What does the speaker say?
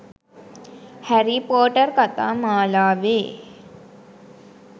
හැරී පොටර් කතා මාලාවේ